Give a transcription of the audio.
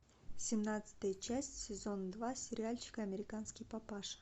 семнадцатая часть сезон два сериальчик американский папаша